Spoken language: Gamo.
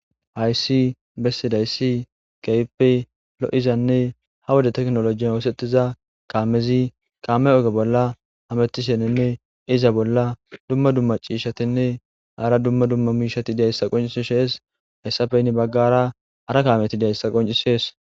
Hayssi bessidayssi kaype lo'izanne ha woda teknolojiy oosetiza kaamezi kaame oge bolla hamettishenenne iza bolla dumma dumma ciishatinne aara dumma dumma miishati diayssa qoncisishees hayssafeynni baggara ara kaamyeti diyayssa qoncisees.